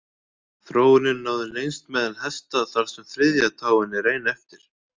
Þróunin náði lengst meðal hesta þar sem þriðja táin er ein eftir.